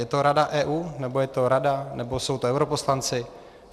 Je to Rada EU, nebo je to Rada, nebo jsou to europoslanci?